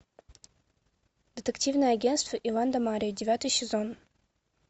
детективное агентство иван да марья девятый сезон